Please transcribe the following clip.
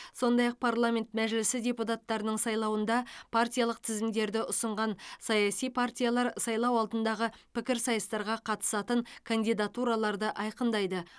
сондай ақ парламент мәжілісі депутаттарының сайлауында партиялық тізімдерді ұсынған саяси партиялар сайлау алдындағы пікірсайыстарға қатысатын кандидатураларды айқындайды